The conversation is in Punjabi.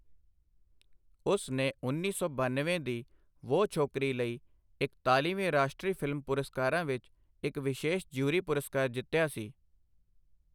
ਉਸ ਨੇ ਉੱਨੀ ਸੌ ਬਨਵੇਂ ਦੀ ਵੋਹ ਚੋਕਰੀ ਲਈ ਇਕਤਾਲੀਵੇਂ ਰਾਸ਼ਟਰੀ ਫਿਲਮ ਪੁਰਸਕਾਰਾਂ ਵਿੱਚ ਇੱਕ ਵਿਸ਼ੇਸ਼ ਜਿਊਰੀ ਪੁਰਸਕਾਰ ਜਿੱਤਿਆ ਸੀ।